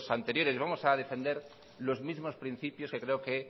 anteriores y vamos a defender los mismos principios que creo que